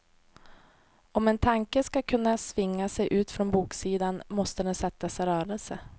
Om en tanke ska kunna svinga sig ut från boksidan, måste den sättas i rörelse.